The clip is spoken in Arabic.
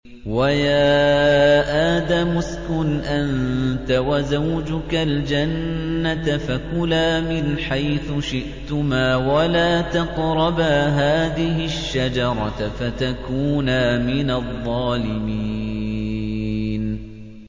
وَيَا آدَمُ اسْكُنْ أَنتَ وَزَوْجُكَ الْجَنَّةَ فَكُلَا مِنْ حَيْثُ شِئْتُمَا وَلَا تَقْرَبَا هَٰذِهِ الشَّجَرَةَ فَتَكُونَا مِنَ الظَّالِمِينَ